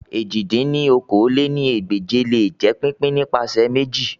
èjì dín ní okòó-lé-ní-ẹgbẹ́je le jẹ pipin nipasẹ meji